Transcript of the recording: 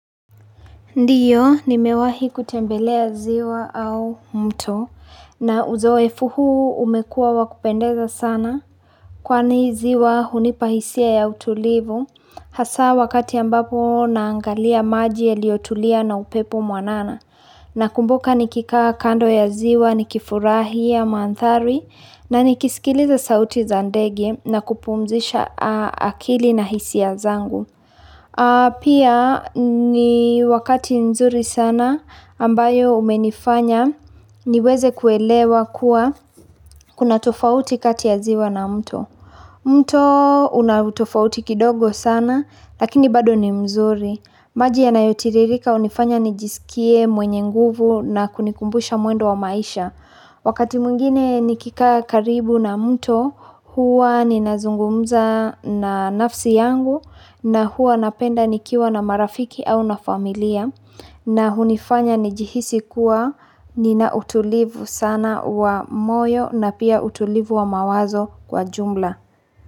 Ndiyo, nimewahi kutembelea ziwa au mto, na uzoefu huu umekuwa wa kupendeza sana. Kwani ziwa hunipa hisia ya utulivu, hasa wakati ambapo naangalia maji yaliotulia na upepo mwanana. Nakumbuka nikikaa kando ya ziwa, nikifurahia, mandhari, na nikisikiliza sauti za ndege na kupumzisha akili na hisia zangu. Pia ni wakati mzuri sana ambayo umenifanya niweze kuelewa kuwa kuna tofauti kati ya ziwa na mto. Mto una utofauti kidogo sana lakini bado ni mzuri. Maji yanayotiririka hunifanya nijisikie mwenye nguvu na kunikumbusha mwendo wa maisha. Wakati mwingine nikikaa karibu na mto huwa ninazungumza na nafsi yangu na huwa napenda nikiwa na marafiki au na familia na hunifanya nijihisi kuwa nina utulivu sana wa moyo na pia utulivu wa mawazo kwa jumla.